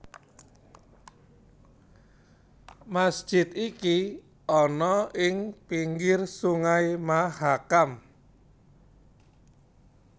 Masjid iki ana ing pinggir Sungai Mahakam